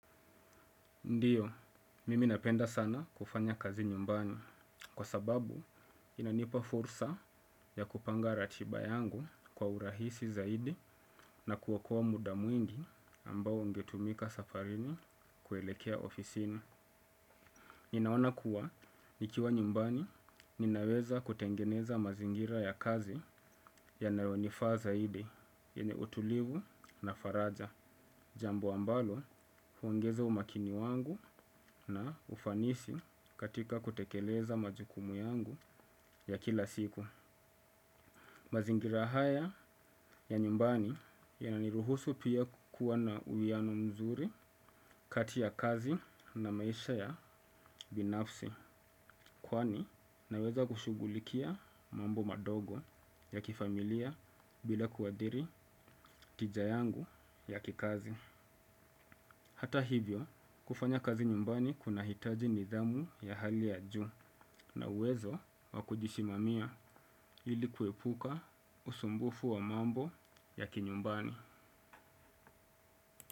Ndiyo, mimi napenda sana kufanya kazi nyumbani kwa sababu inanipa fursa ya kupanga ratiba yangu kwa urahisi zaidi na kuokoa muda mwingi ambao ungetumika safarini kuelekea ofisini. Ninaona kuwa nikiwa nyumbani ninaweza kutengeneza mazingira ya kazi yanayonifaa zaidi yenye utulivu na faraja. Jambo ambalo huongeza umakini wangu na ufanisi katika kutekeleza majukumu yangu ya kila siku. Mazingira haya ya nyumbani yana niruhusu pia kuwa na uwiyano mzuri kati ya kazi na maisha ya binafsi. Kwani naweza kushugulikia mambo madogo ya kifamilia bila kuadhiri tija yangu ya kikazi. Hata hivyo, kufanya kazi nyumbani kuna hitaji nidhamu ya hali ya juu na uwezo wakujisimamia ilikuepuka usumbufu wa mambo ya kinyumbani.